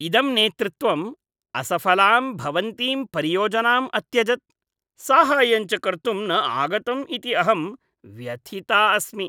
इदं नेतृत्वम् असफलां भवन्तीं परियोजनां अत्यजत्, साहाय्यं च कर्तुं न आगतम् इति अहं व्यथिता अस्मि।